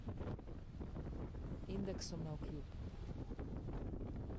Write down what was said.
Indeksom navkljub.